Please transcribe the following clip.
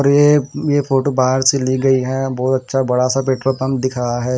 और ये ये फोटो बाहर से ली गई है बहुत अच्छा बड़ासा पेट्रोल पंप दिख रहा है।